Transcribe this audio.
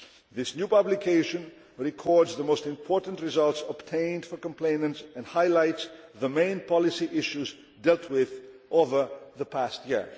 This new publication records the most important results obtained for complainants, and highlights the main policy issues dealt with over the past year.